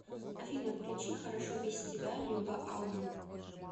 афина включи хорошо без тебя люба алман